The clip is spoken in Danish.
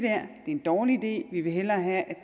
en dårlig idé vi vil hellere have